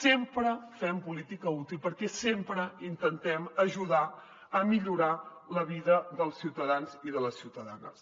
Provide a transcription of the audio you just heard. sempre fem política útil perquè sempre intentem ajudar a millorar la vida dels ciutadans i de les ciutadanes